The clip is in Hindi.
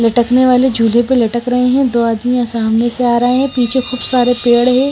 लटकने वाले झूले पे लटक रहे हैं। दो आदमी सामने से आ रहा है। पीछे खूब सारे पेड़ है।